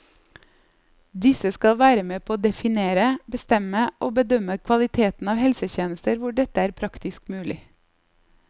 Disse skal være med på å definere, bestemme og bedømme kvaliteten av helsetjenester hvor dette er praktisk mulig.